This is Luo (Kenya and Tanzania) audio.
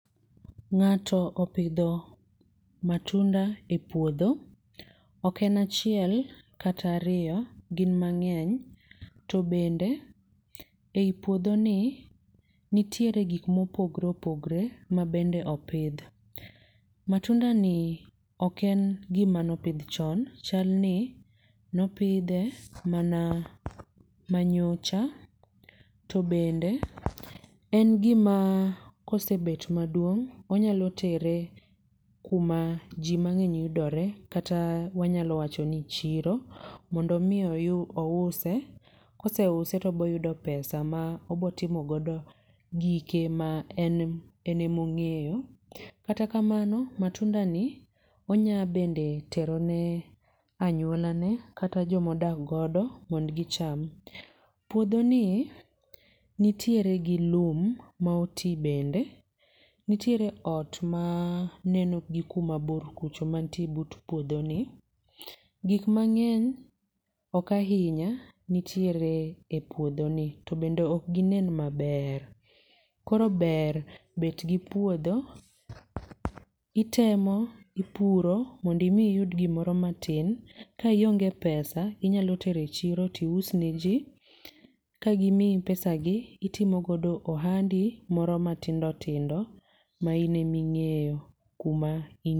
Ng'ato opidho matunda e puodho, oken achiel kata ariyo, gin mang'eny. To bende ei puodho ni nitiere gik mopogore opogore mabende opidh. Matunda ni oken gima nopidh chon, chal ni nopidhe mana manyocha. To bende en gima kose bet maduong' onyalo tere kuma ji mang'eny yudore kata wanyalo wacho ni chiro mondo mi ouse, kose use to biro yudo pesa ma obotimogodo gike ma en en ema ong'eyo. Kata kamano matunda ni onyaa bende terone anyuolane kata jomodak godo mond gicham. Puodho ni nitiere gi lum ma oti bende, nitiere ot ma neno gi kuma bur kucho mantie but puodho ni. Gik mang'eny, ok ahinya nitiere e puodho ni to bende ok ginen maber. Koro ber bet gi puodho, itemo ipuro mond imi iyud gimoro matin. Ka ionge pesa inyalotero e chiro tiusneji, ka gimi pesagi itimogodo ohandi moro matindo tindo ma ine mi ng'eyo kuma